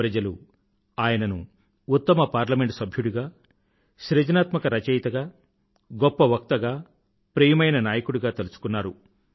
ప్రజలు ఆయనను ఉత్తమ పార్లమెంట్ సభ్యుడిగా సున్నితమైన రచయితగా గొప్ప వక్తగా ప్రియమైన నాయకుడిగా తలుచుకున్నారు